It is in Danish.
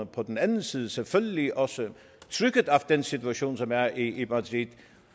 på den anden side selvfølgelig også trykket af den situation som er i madrid